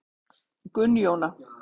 Gunnjóna